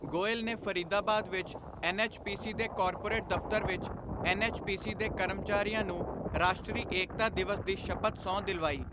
ਗੋਇਲ ਨੇ ਫਰੀਦਾਬਾਦ ਵਿੱਚ ਐੱਨਐੱਚਪੀਸੀ ਦੇ ਕੋਰਪੋਰੇਟ ਦਫਤਰ ਵਿੱਚ ਐੱਨਐੱਚਪੀਸੀ ਦੇ ਕਰਮਚਾਰੀਆਂ ਨੂੰ ਰਾਸ਼ਟਰੀ ਏਕਤਾ ਦਿਵਸ ਦੀ ਸ਼ਪਥ ਸਹੁੰ ਦਿਲਵਾਈ।